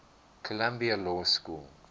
columbia law school